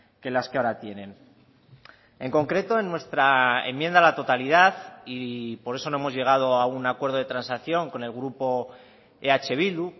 que las que ahora tienen en concreto en nuestra enmienda a la totalidad y por eso no hemos llegado a un acuerdo de transacción con el grupo eh bildu